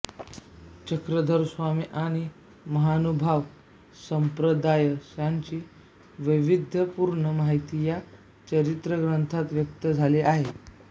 चक्रधरस्वामी आणि महानुभाव संप्रदाय यांची वैविध्यपूर्ण माहिती या चरित्रग्रंथातून व्यक्त झाली आहे